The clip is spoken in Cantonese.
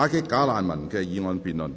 "打擊'假難民'"的議案辯論。